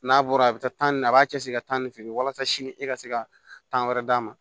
N'a bɔra a bɛ taa nin a b'a cɛsiri ka taa ni feere walasa sini e ka se ka tan wɛrɛ d'a ma